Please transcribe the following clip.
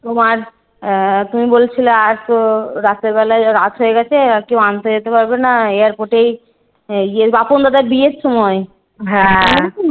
তোমার আহ তুমি বলছিলে আসো রাত্রে বেলায় রাত হয়ে গেছে আর কেউ আনতে যেতে পারবে না। airport এই গিয়ে বাপন দাদার বিয়ের সময়।